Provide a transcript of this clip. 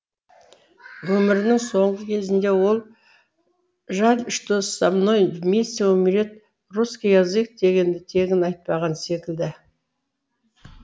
өмірінің соңғы кезінде ол жаль что со мной вместе умрет русский язык дегенді тегін айтпаған секілді